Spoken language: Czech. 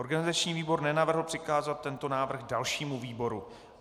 Organizační výbor nenavrhl přikázat tento návrh dalšímu výboru.